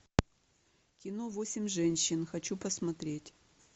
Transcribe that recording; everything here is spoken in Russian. кино восемь женщин хочу посмотреть